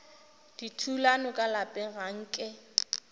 dithulano ka lapeng ga nke